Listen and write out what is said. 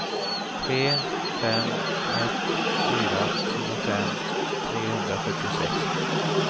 tre fem ett fyra tjugofem trehundrafyrtiosex